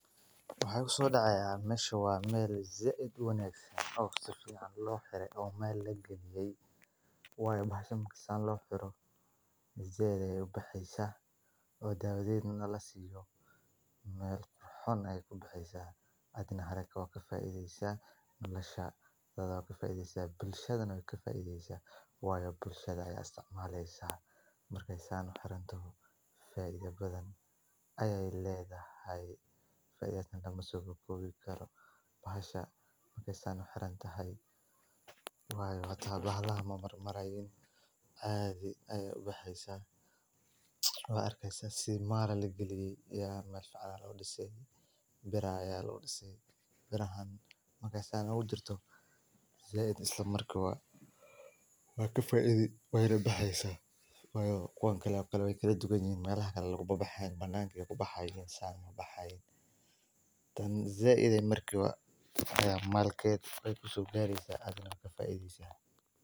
Waxa igu sodacayah meshan waa mel zaid uwanagsan oo sifican loxirey, oo maal lamalgaliye, wayo bashan marki san loxiro zaid ayay ubaxeysa oo dawoded nah lasiyo, mel qurxon ayay kubaxeysa adnah haraka wad kafaideysa noloshadi wadkafaideysa bulshada nah waykafaideysa ,wayo bulshada aya istacmaleysa markay saan uxirantoho faido badhan ayay ledahay, faidadeda halkan kumasokobi karo bahashan markay san uxirantahay, wayo hada bahalada mamarmayo zaid ayay ubaxeysa wad arkeysa sidii maal lagaliye meel fican aya lodisey biir aya lagudisey birahan markay san ogu jirto zayid isla markibo wad kafaidi, way nabaxeysa wayo kuwano kale waykadubanyihin melaha kale kababaxayan bananka ubaxayin tan zaid ayay markibo aya malkeda kusogareysa ayad ka faideysa.